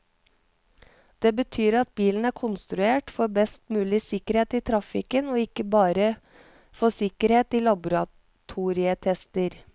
Det betyr at bilen er konstruert for best mulig sikkerhet i trafikken, og ikke bare for sikkerhet i laboratorietester.